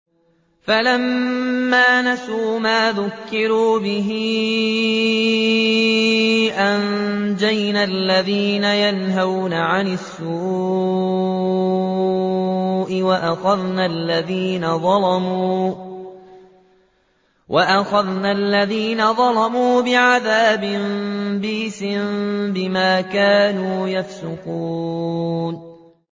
فَلَمَّا نَسُوا مَا ذُكِّرُوا بِهِ أَنجَيْنَا الَّذِينَ يَنْهَوْنَ عَنِ السُّوءِ وَأَخَذْنَا الَّذِينَ ظَلَمُوا بِعَذَابٍ بَئِيسٍ بِمَا كَانُوا يَفْسُقُونَ